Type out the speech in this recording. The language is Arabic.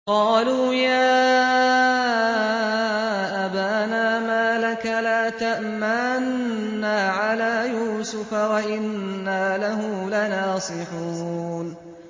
قَالُوا يَا أَبَانَا مَا لَكَ لَا تَأْمَنَّا عَلَىٰ يُوسُفَ وَإِنَّا لَهُ لَنَاصِحُونَ